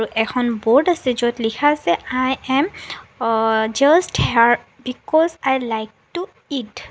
এখন বোৰ্ড আছে য'ত লিখা আছে I am uh just here because I like to it.